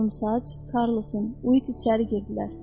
Qorumsaç, Karlos, Uiq içəri girdilər.